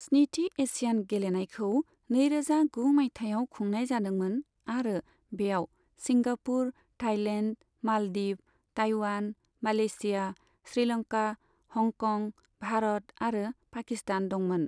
स्निथि एशियान गेलेनायखौ नैरोजा गु मायथाइयाव खुंनाय जादोंमोन आरो बेयाव Singapore, Thailand, Maldives, Taiwan, Malaysia, Sri Lanka, Hong Kong, Bharat आरो पाकिस्तान दंमोन।